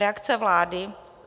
Reakce vlády?